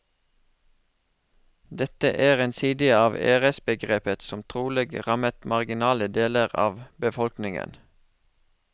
Dette er en side av æresbegrepet som trolig rammet marginale deler av befolkningen.